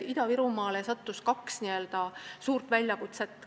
Ida-Virumaal sattus kokku kaks n-ö suurt väljakutset.